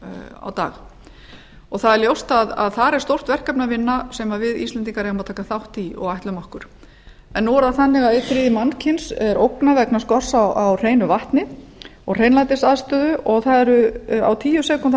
á dag það er ljóst að þar er stórt verkefni að vinna sem við íslendingar eigum að taka þátt í og ætlum okkur nú er það þannig að einn þriðji mannkyns er ógnað vegna skorts á hreinu vatni og hreinlætisaðstöðu og á tíu sekúndna